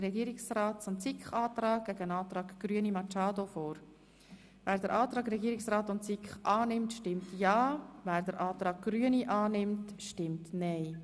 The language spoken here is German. Wer den Antrag von Regierungsrat und SiK annimmt, stimmt ja, wer ihn ablehnt, stimmt nein.